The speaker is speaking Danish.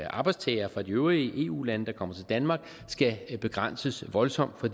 arbejdstagere fra de øvrige eu lande der kommer til danmark skal begrænses voldsomt for